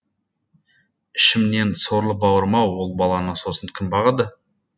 ішімнен сорлы бауырым ау ол баланы сосын кім бағады